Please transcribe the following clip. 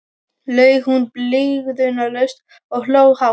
laug hún blygðunarlaust og hló hátt.